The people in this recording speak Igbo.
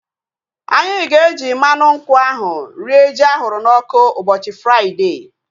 Anyị ga-eji mmadụ nkwụ ahu rie ji ahụrụ n'ọkụ ụbọchị Fraịdee